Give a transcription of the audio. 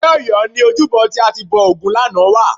Ní Ọ̀yọ́ ni ojúbọ tí a ti bọ ògún lánàá wà